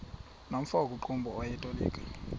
nomfo wakuqumbu owayetolika